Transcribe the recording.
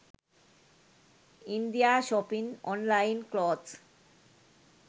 india shopping online clothes